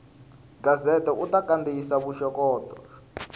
gazette u ta kandziyisa vuxokoxoko